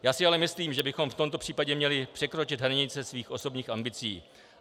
Já si ale myslím, že bychom v tomto případě měli překročit hranice svých osobních ambicí.